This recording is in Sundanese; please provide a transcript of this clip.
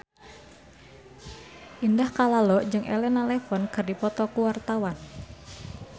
Indah Kalalo jeung Elena Levon keur dipoto ku wartawan